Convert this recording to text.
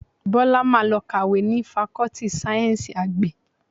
Bọ́lá máa lọ kàwé ni Fakọ́tì Sáyẹ́ńsì Àgbẹ̀